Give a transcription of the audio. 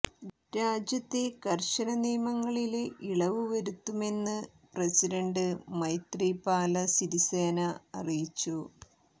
രാജ്യത്തെ കര്ശന നിയമങ്ങളില് ഇളവ് വരുത്തുമെന്ന് പ്രസിഡന്റ് മൈത്രിപാല സിരിസേന അറിയിച്ചു